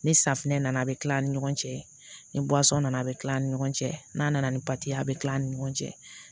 Ni safinɛ nana a bɛ kila an ni ɲɔgɔn cɛ ni nana a bɛ tila an ni ɲɔgɔn cɛ n'a nana ni a bɛ kila an ni ɲɔgɔn cɛ